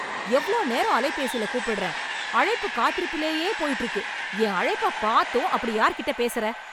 எவ்ளோ நேரம் அலைபேசில கூப்பிடுறேன், அழைப்பு காத்திருப்புலயே போய்ட்டு இருக்கு. என் அழைப்ப பாத்தும் அப்படி யார்கிட்டப் பேசுற?